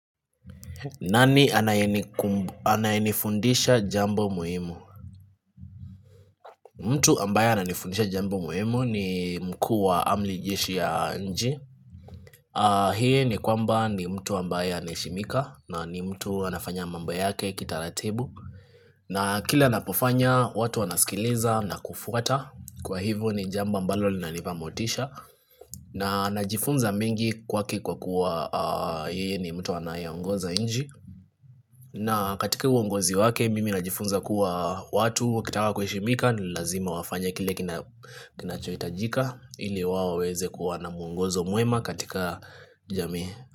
Nani anayenifundisha jambo muhimu? Mtu ambaye ananifundisha jambo muhimu ni mkuu wa amri jeshi ya nchi. Hii ni kwamba ni mtu ambaye anaheshimika na ni mtu anafanya mambo yake kitaratibu. Na kila anapofanya, watu wanasikiliza na kufuata. Kwa hivyo ni jambo ambalo linanipa motisha. Na najifunza mengi kwake kwa kuwa yeye ni mtu anayeongoza nchi. Na katika uongozi wake mimi najifunza kuwa watu wakitaka kuheshimika ni lazima wafanye kile kinachohitajika ili wao waweze kuwa na muongozo mwema katika jamii.